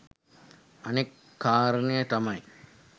අනෙත් කාරණය තමයි